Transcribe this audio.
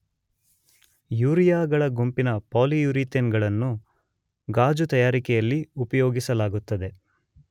ಯೂರಿಯಾಗಳ ಗುಂಪಿನ ಪಾಲಿಯೂರಿಥೇನ್ ಗಳನ್ನು ಗಾಜು ತಯಾರಿಕೆಯಲ್ಲಿ ಉಪಯೋಗಿಸಲಾಗುತ್ತದೆ